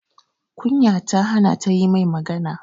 Kunya ta hana ta yi mai magana